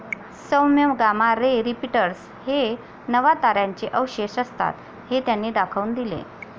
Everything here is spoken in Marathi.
सौम्य गामा रे रिपीटर्स हे नवताऱ्यांचे अवशेष असतात, हे त्यांनी दाखवून दिले.